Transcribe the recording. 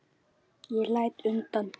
Ég læt undan.